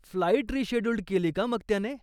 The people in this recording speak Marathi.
फ्लाईट रिशेड्युल्ड केली का मग त्याने?